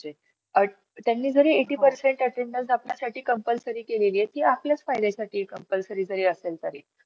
चांगला शिकवते म्हणजे. अ जसं की आता आपण काही गोष्टी करतो. त्यामध्ये आपल्याला ते करायला प्रवृत्ती नाही . ते सांगतो मैत्री अशी मजबूत ठेवायची एक साधन आहे.